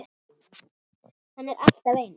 Hann er alltaf eins.